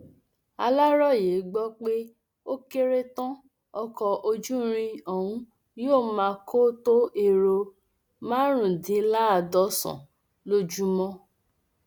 aláròye gbọ pé ó kéré tán ọkọ ojúirín ọhún yóò máa kó tó ẹrọ márùndínláàádọsàn lójúmọ